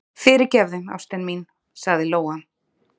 Fyrirgefðu, ástin mín, sagði Lóa.